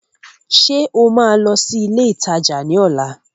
Ṣé o máa lọ sí ilé ìtajà ní ọ̀la?